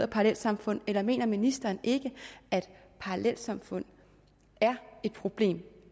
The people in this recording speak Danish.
parallelsamfund eller mener ministeren ikke at parallelsamfund er et problem